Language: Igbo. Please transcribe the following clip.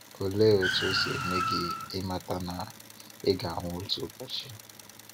Olee otú o si eme gị ịmata na ị ga-anwụ otu ụbọchị?